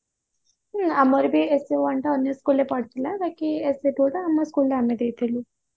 ହଁ ଆମର ବି essay one ଟା ଅନ୍ୟ school ରେ ପଡିଥିଲା ବାକି essay two ଟା ଆମ school ରେ ଆମେ ଦେଇଥିଲୁ